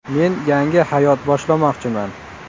Men yangi hayot boshlamoqchiman...